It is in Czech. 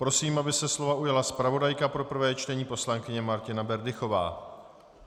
Prosím, aby se slova ujala zpravodajka pro prvé čtení, poslankyně Martina Berdychová.